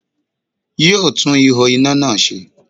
Yóò tún ihò iná náà se